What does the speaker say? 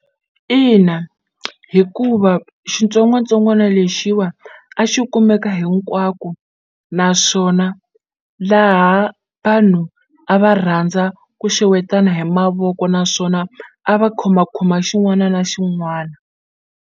Ina, hikuva xitsongwatsongwana lexiwa a xi kumeka hinkwako naswona laha vanhu a va rhandza ku xewetana hi mavoko naswona a va khomakhoma xin'wana na xin'wana.